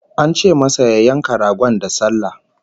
An ce masa ya yanka ragon da sallah